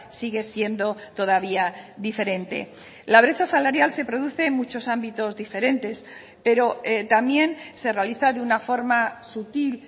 sigue siendo todavía diferente la brecha salarial se produce en muchos ámbitos diferentes pero también se realiza de una forma sutil